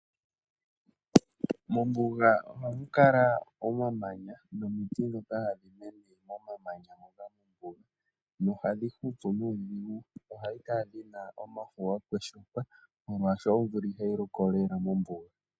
Mombuga ohamu kala omamanya nomiti ndhoka hadhi mene momamanya ngoka mombuga, nohadhi hupu nuudhigu nohadhi kala dhina omafo ga kweshuka, molwaashoka omvula ihayi loko lela momvula.